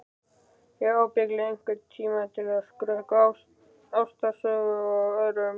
Ég hef ábyggilega einhvern tíma skrökvað ástarsögu að öðrum.